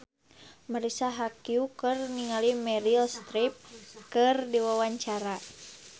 Marisa Haque olohok ningali Meryl Streep keur diwawancara